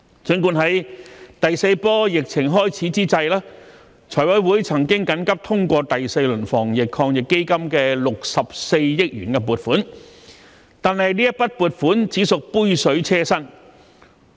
儘管在第四波疫情開始之際，財委會曾緊急通過第四輪防疫抗疫基金的64億元撥款，但這筆撥款只屬杯水車薪。